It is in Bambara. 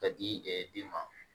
Ka di den ma